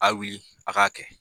Aye wili a k'a kɛ.